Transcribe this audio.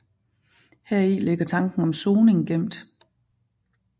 Heri ligger tanken om soning gemt